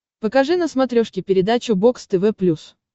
покажи на смотрешке передачу бокс тв плюс